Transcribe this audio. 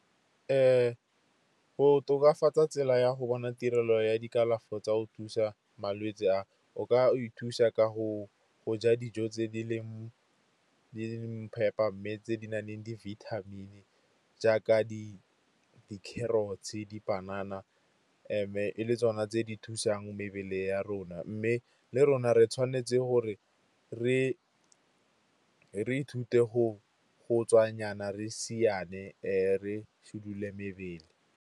Go tokafatsa tsela ya go bona tirelo ya dikalafi tsa go thusa malwetse a, o ka o ithusa ka go ja dijo tse di leng phepa, mme tse di naleng di-vitamin jaaka di-carrots-e, dipanana. E le tsona tse di thusang mebele ya rona, mme le rona re tshwanetse gore re ithute go tswa nyana siane re sedile mebele.